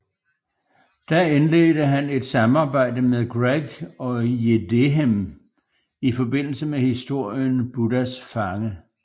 Da indledte han et samarbejde med Greg og Jidéhem i forbindelse med historien Buddhas fange